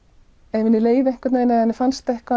ef henni leið einhvern veginn eða fannst eitthvað